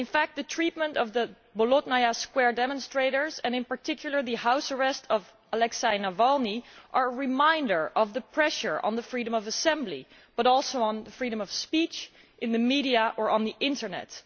The treatment of the Bolotnaya Square demonstrators and, in particular, the house arrest of Aleksei Navalny are reminders of the pressure not only on freedom of assembly but also on freedom of speech in the media or on the internet.